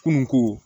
Kunun ko